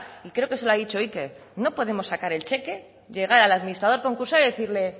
y creo que se lo ha dicho iker no podemos sacar el cheque llegar a la administrador concursal y decirle